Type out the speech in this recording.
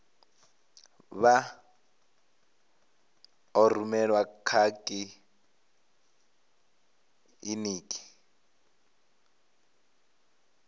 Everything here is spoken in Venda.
vha ḓo rumelwa kha kiḽiniki